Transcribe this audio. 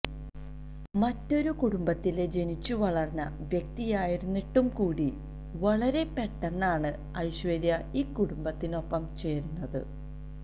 മറ്റൊരു കുടുംബത്തില് ജനിച്ചു വളര്ന്ന വ്യക്തിയായിരുന്നിട്ടുകൂടി വളരെ പെട്ടെന്നാണ് ഐശ്വര്യ ഈ കുടുംബത്തിനൊപ്പം ചേര്ന്നത്